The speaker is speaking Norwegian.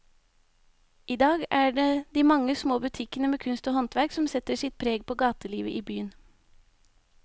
I dag er det de mange små butikkene med kunst og håndverk som setter sitt preg på gatelivet i byen.